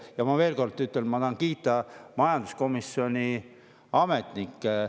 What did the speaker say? Ja ma ütlen veel kord, et ma tahan kiita majanduskomisjoni ametnikke.